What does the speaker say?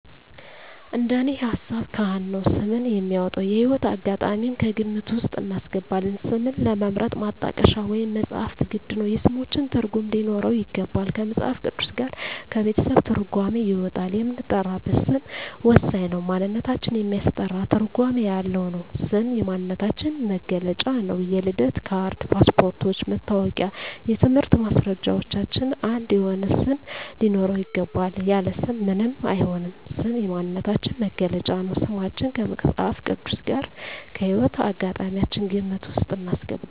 እንደኔ ሀሳብ ካህን ነው ስም የሚያወጣው። የህይወት አጋጣሚም ከግምት ውስጥ እናስገባለን ስምን ለመምረጥ ማጣቀሻ ወይም መፅሀፍት ግድ ነው የስሞችን ትርጉም ሊኖረው ይገባል ከመፅሀፍ ቅዱስ ጋር ከቤተሰብ ትርጓሜ ይወጣል የምንጠራበት ስም ወሳኝ ነው ማንነታችን የሚያስጠራ ትርጓሜ ያለው ነው ስም የማንነታችን መግለጫ ነው የልደት ካርድ ,ፓስፓርቶች ,መታወቂያ የትምህርት ማስረጃችን አንድ የሆነ ስም ሊኖረው ይገባል። ያለ ስም ምንም አይሆንም ስም የማንነታችን መገለጫ ነው። ስማችን ከመፅሀፍ ቅዱስ ጋር ከህይወት አጋጣሚያችን ግምት ውስጥ እናስገባለን